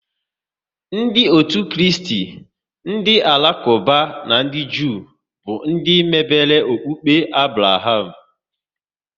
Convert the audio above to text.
Ndị otu Kristi, ndị Alakuba na ndị Jew bụ ndị mebere okpukpe Abraham